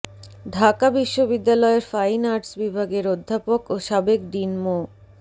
ঢাকা বিশ্ববিদ্যালয়ের fine arts বিভাগের অধ্যাপক ও সাবেক ডিন মো